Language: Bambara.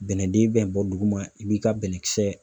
Bɛnɛden bɛn bɔ dugu ma, i b'i ka bɛnɛkisɛ